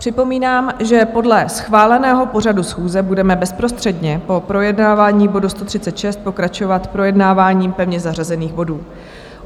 Připomínám, že podle schváleného pořadu schůze budeme bezprostředně po projednávání bodu 136 pokračovat projednáváním pevně zařazených bodů.